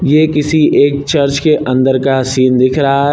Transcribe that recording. ये किसी एक चर्च के अंदर का सीन दिख रहा है।